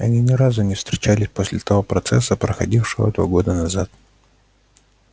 они ни разу не встречались после того процесса проходившего два года назад